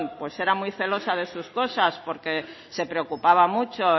era muy celosa de sus cosas porque se preocupaba mucho